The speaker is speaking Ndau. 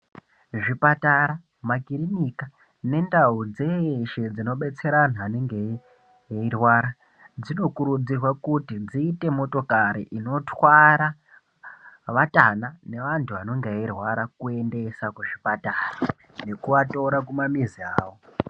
Zvipatara, makirinika nendau dzeshe dzinobetsera anhu anenge eirwara, dzinokuridzirwa kuti dziite motokari dzinotwara vatana nevantu vanenge veirwara kuendesa kuzvipatara nekuvatora kumamizi avo.